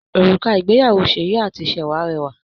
Òrùka ìgbéyàwó Seyi àti Sewa rẹwà